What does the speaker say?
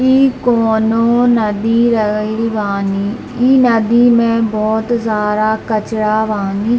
इ कौनो नदी लगिल बानी इ नदी में बोहोत सारा कचरा बानी।